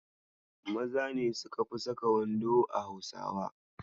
Maza ne suka fi saka wando a Hausawa.